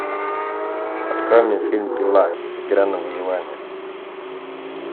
открой мне фильм пила игра на выживание